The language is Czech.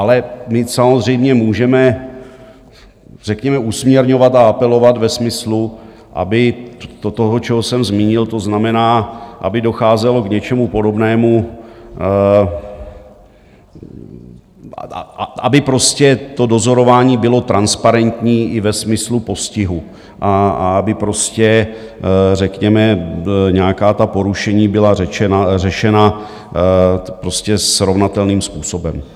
Ale my samozřejmě můžeme řekněme usměrňovat a apelovat ve smyslu, aby do toho, co jsem zmínil, to znamená, aby docházelo k něčemu podobnému, aby prostě to dozorování bylo transparentní i ve smyslu postihu a aby prostě řekněme nějaká ta porušení byla řešena prostě srovnatelným způsobem.